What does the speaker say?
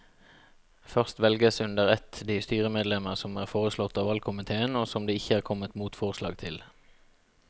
Først velges under ett de styremedlemmer som er foreslått av valgkomiteen og som det ikke er kommet motforslag til.